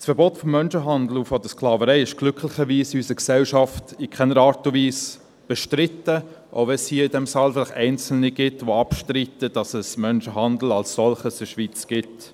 Das Verbot des Menschenhandels und der Sklaverei ist glücklicherweise in unserer Gesellschaft in keiner Art und Weise bestritten, auch wenn es hier im Saal vielleicht einzelne gibt, die abstreiten, dass es Menschenhandel als solchen in der Schweiz gibt.